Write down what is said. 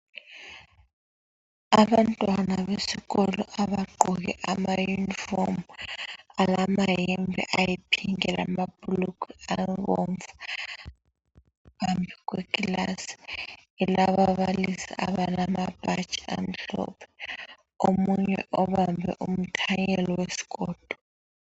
Abantwana besikolo abagqoke ama uniform alamayembe ayipink lamabhulugwe abomvu phambi kwekilasi elababalisi abalamabhatshi amhlophe omunye obambe umthanyelo wesikolo